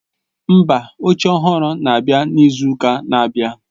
Mba, oche ọhụrụ na-abịa n'izu ụka na-abịa.